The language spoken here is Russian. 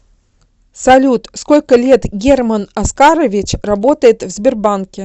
салют сколько лет герман оскарович работает в сбербанке